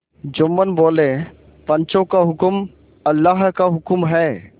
जुम्मन बोलेपंचों का हुक्म अल्लाह का हुक्म है